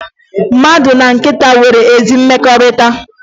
Mmadụ na nkịta nwere ezi mmekọrịta